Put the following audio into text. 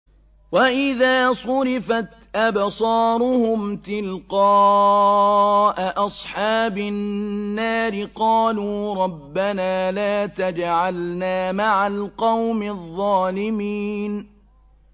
۞ وَإِذَا صُرِفَتْ أَبْصَارُهُمْ تِلْقَاءَ أَصْحَابِ النَّارِ قَالُوا رَبَّنَا لَا تَجْعَلْنَا مَعَ الْقَوْمِ الظَّالِمِينَ